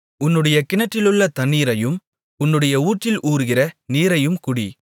உன்னுடைய கிணற்றிலுள்ள தண்ணீரையும் உன்னுடைய ஊற்றில் ஊறுகிற நீரையும் குடி